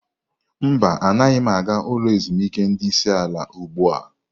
Mba, anaghị m aga ulo ezimuike ndi isi ala ugbu a.